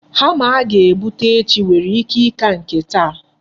Hama a ga-ebute echi nwere ike ịka nke taa.